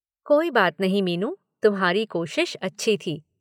"कोई बात नहीं मीनू, तुम्हारी कोशिश अच्छी थी।